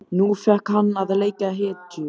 Nú fékk hann að leika hetju.